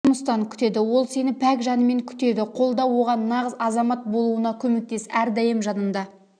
жұмыстан күтеді ол сені пәк жанымен күтеді қолда оған нағыз азамат болуына көмектес әрдайым жанында